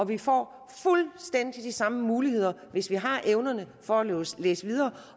vi får fuldstændig de samme muligheder hvis vi har evnerne for at læse videre